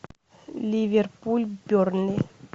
ливерпуль бернли